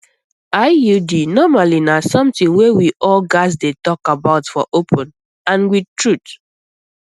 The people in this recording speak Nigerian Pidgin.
iud normally na something wey we all gats dey talk about for open and with truth